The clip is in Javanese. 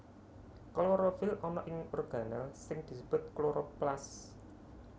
Klorofil ana ing organel sing disebut kloroplas